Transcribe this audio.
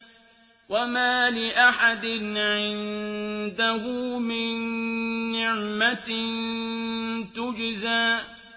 وَمَا لِأَحَدٍ عِندَهُ مِن نِّعْمَةٍ تُجْزَىٰ